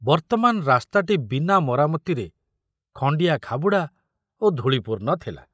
ବର୍ତ୍ତମାନ ରାସ୍ତାଟି ବିନା ମରାମତିରେ ଖଣ୍ଡିଆ ଖାବୁଡ଼ା ଓ ଧୂଳି ପୂର୍ଣ୍ଣ ଥିଲା।